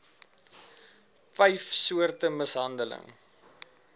vyf soorte mishandeling